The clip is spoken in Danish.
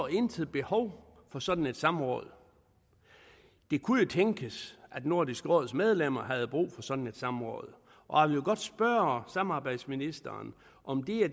intet behov så for sådan et samråd det kunne jo tænkes at nordisk råds medlemmer havde brug for sådan et samråd og jeg vil godt spørge samarbejdsministeren om det er